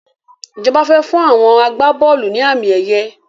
Ìjọba fẹ fún àwọn agbá-bọ́ọ́lù ni àmì ẹ̀yẹ